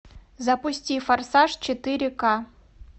запусти форсаж четыре ка